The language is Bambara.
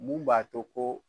Mun b'a to ko